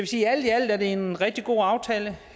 sige at alt i alt er det en rigtig god aftale